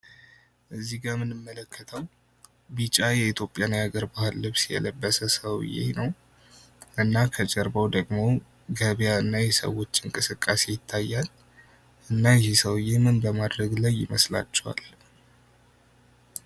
እዚህ ጋ ምንመለከተው ቢጫ የኢትዮጵያን የሀገር ባህል ልብስ የለበሰ ሰውዬ ነው እና ከጀርባው ደግሞ ገብያ እና የሰዎች እንቅስቃሴ ይታያል ። እና ይህ ሰውዬ ምን በማድረግ ላይ ይመስላችኋል?